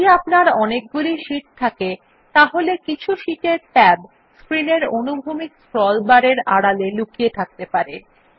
যদি আপনার অনেকগুলি শীট থাকে তাহলে কিছু শীটের ট্যাব স্ক্রিন এর অনুভূমিক স্ক্রল বার এর আড়ালে লুকিয়ে থাকতে পারে